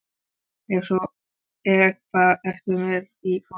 Ef svo er, hvað ertu með í forgjöf?